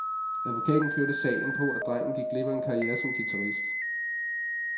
Advokaten kørte sagen på, at drengen gik glip af en karriere som guitarist.